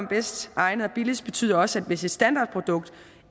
bedst egnede og billigste betyder også hvis et standardprodukt